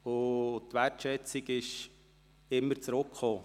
Die Wertschätzung kam auch immer zurück.